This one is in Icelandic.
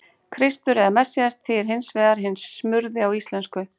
Kristur eða Messías þýðir hins vegar hinn smurði á íslensku.